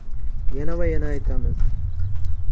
Yana va yana aytamiz.